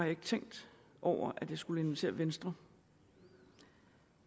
ikke tænkt over at jeg skulle invitere venstre